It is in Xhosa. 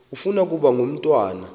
ufuna ukaba ngumntwana